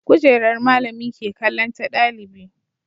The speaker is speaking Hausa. Kujerar malami ke kallon ta ɗalibi